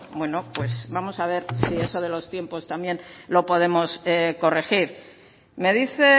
bueno pues vamos a ver si eso de los tiempos también lo podemos corregir me dice